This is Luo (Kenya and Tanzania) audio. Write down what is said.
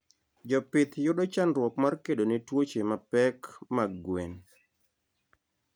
Jopith yudo chandruok mar kedone tuoche mapek mag gwen